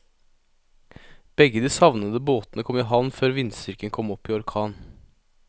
Begge de savnede båtene kom i havn før vindstyrken kom opp i orkan.